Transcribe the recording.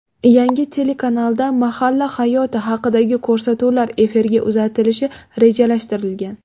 Yangi telekanalda mahalla hayoti haqidagi ko‘rsatuvlar efirga uzatilishi rejalashtirilgan.